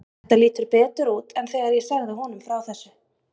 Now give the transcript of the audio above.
Þetta lítur betur út en þegar ég sagði honum frá þessu.